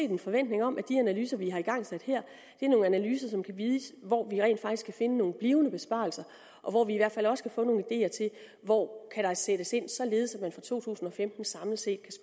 en forventning om at de analyser vi har igangsat her er nogle analyser som kan vise hvor vi rent faktisk kan finde nogle blivende besparelser og hvor vi i hvert fald også kan få nogle ideer til hvor kan sættes ind således at man fra to tusind og femten samlet set